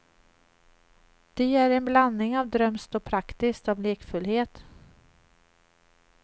De är en blandning av drömskt och praktiskt, av lekfullhet.